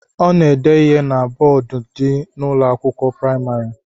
Ọ na-ede ihe na bọọdu dị n'Ụlọ akwụkwọ praịmarị